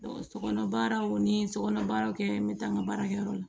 sokɔnɔ baaraw ni sokɔnɔ baaraw kɛ n bɛ taa n ka baarakɛyɔrɔ la